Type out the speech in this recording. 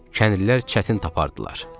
kəndlilər çətin tapardılar.